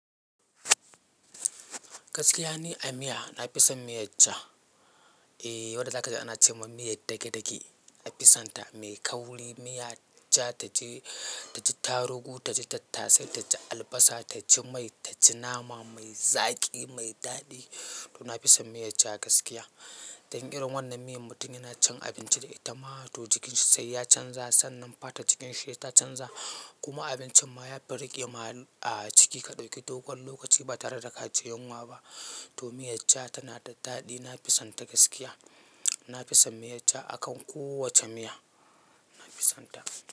Gaskiya ni a miya. Na fi son miyar ja. Eh, wadda za ka ji ana ce ma miyar dage-dage. Na fi son ta. Mai kauri, miya ja ta taji, ta ji tarugu, ta ji tattasai, ta ji albasa, ta ji mai, ta ji nama mai zaƙi, mai daɗi. To na fi son miyar ja gaskiya. Dan irin wannan miyan mutum yana cin abinci da ita ma, to jikinshi sai ya canza. Sannan fatan jikinshi ta canza. Kuma abincin ma ya fi riƙe ma ciki ka ɗauki dogon lokaci ba tare da ka ji yunwa ba. To miyar ja tana da daɗi. Na fi son ta gaskiya. Na fi son miyar ja akan kowace miya. Na fi son ta.